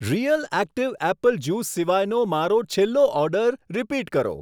Real active apple juice સિવાયનો મારો છેલ્લો ઓર્ડર રીપીટ કરો.